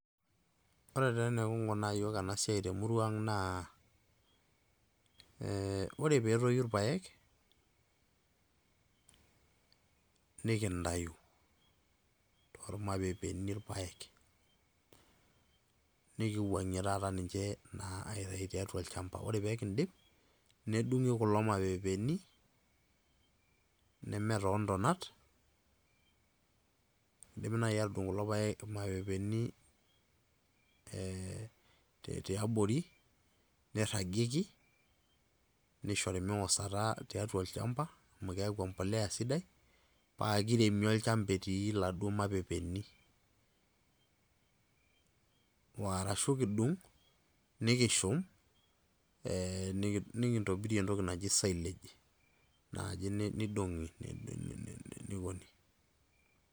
Ore taa enikinkunaa yiok enasiai temurua ang' naa, ore petoyu irpaek, nikintayu tormapepeeni irpaek. Nikiwang'ie taata ninche naa aitayu tiatua olchamba. Ore pekidip, nedung'i kulo mapepeeni, neme toontonat, idimi nai atudung' kulo paek mapepeeni, tiabori, nirragieki, nishori miwosata tiatua olchamba, amu keeku empolea sidai, pakiremi olchamba etii laduo mapepeeni. Warashu kidung',nikishum, nikintobirie entoki naji silage. Naji nidong'i, nikuni.